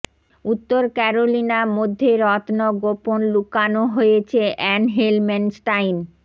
উত্তর ক্যারোলিনা মধ্যে রত্ন গোপন লুকানো হয়েছে অ্যান হেলম্যানস্টাইন